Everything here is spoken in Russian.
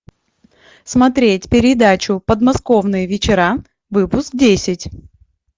смотреть передачу подмосковные вечера выпуск десять